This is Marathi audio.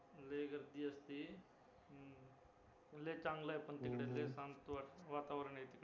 लय गर्दी असते हम्म उलट चांगलं आहे पण तिकडे लय शांत वातावरण असतं